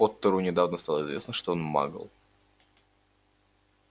поттеру недавно стало известно что он магл